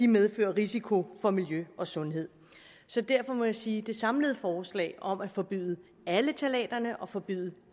medfører risiko for miljø og sundhed så derfor må jeg sige at det samlede forslag om at forbyde alle ftalaterne og forbyde